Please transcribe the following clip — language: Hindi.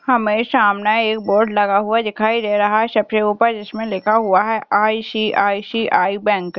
हमें सामने एक बोर्ड लगा हुआ दिखाई दे रहा है सबसे ऊपर जिसमें लिखा हुआ है आई.सी.आई.सी.आई. बैंक .